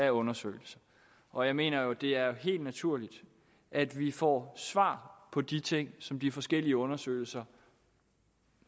af undersøgelser og jeg mener jo at det er helt naturligt at vi får svar på de ting som de forskellige undersøgelser